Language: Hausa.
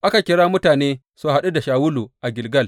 Aka kira mutane su haɗu da Shawulu a Gilgal.